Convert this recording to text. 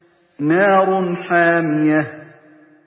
نَارٌ حَامِيَةٌ